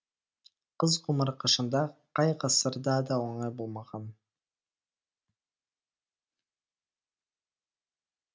қыз ғұмыры қашанда қай ғасырда да оңай болмаған